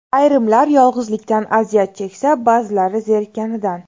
Ayrimlar yolg‘izlikdan aziyat cheksa, ba’zilari zerikkanidan.